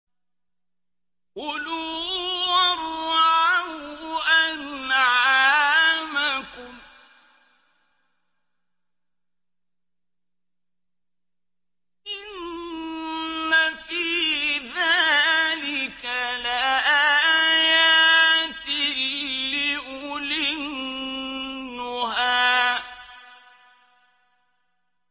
كُلُوا وَارْعَوْا أَنْعَامَكُمْ ۗ إِنَّ فِي ذَٰلِكَ لَآيَاتٍ لِّأُولِي النُّهَىٰ